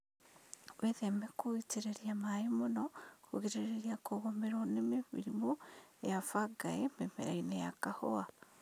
Wĩtheme gũitĩrĩria maĩĩ mũno kũgirĩrĩria kũgũmĩrwo ni mĩrimũ ya bangaĩ mĩmerainĩ ya kahũa